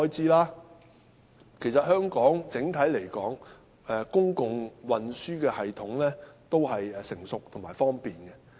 整體來說，香港的公共運輸系統成熟而方便。